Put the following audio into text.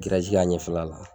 kɛ a ɲɛfɛla la